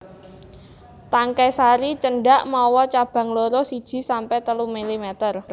Tangkai sari cendhak mawa cabang loro siji sampe telu milimeter